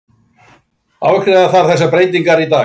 Afgreiða þarf þessar breytingar í dag